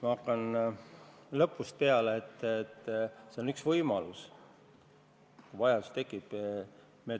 Ma hakkan lõpust peale: see on üks võimalus selleks puhuks, kui vajadus tekib.